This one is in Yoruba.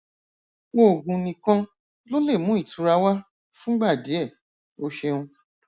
oògùn nìkan ló lè mú ìtura wá fúngbà díẹ o ṣeun